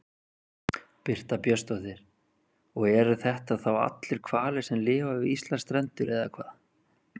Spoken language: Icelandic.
Birta Björnsdóttir: Og eru þetta þá allir hvalir sem lifa við Íslandsstrendur eða hvað?